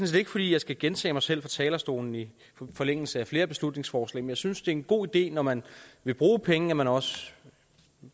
set ikke fordi jeg skal gentage mig selv fra talerstolen i forlængelse af flere beslutningsforslag men jeg synes det er en god idé når man vil bruge penge at man også